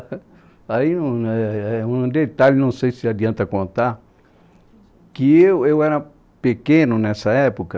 Aí, um é é, um detalhe, não sei se adianta contar, que eu eu era pequeno nessa época,